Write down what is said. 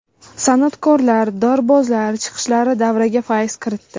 San’atkorlar, dorbozlar chiqishlari davraga fayz kiritdi.